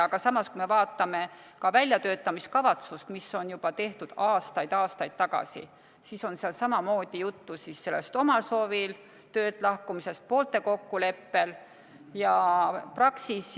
Aga samas, kui me vaatame ka väljatöötamiskavatsust, mis on tehtud juba aastaid-aastaid tagasi, siis seal on samamoodi juttu sellest omal soovil või poolte kokkuleppel töölt lahkumisest.